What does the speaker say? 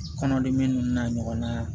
Kɔnɔdimi ninnu n'a ɲɔgɔnna